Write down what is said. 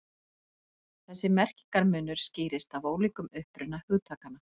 Þessi merkingarmunur skýrist af ólíkum uppruna hugtakanna.